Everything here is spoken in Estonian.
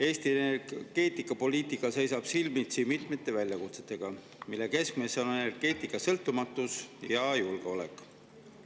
Eesti energeetikapoliitika seisab silmitsi mitmete väljakutsetega, mille keskmes on energeetika sõltumatus ja julgeolek.